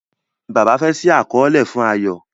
Bàbá fe ṣii àkọọlẹ fún Ayo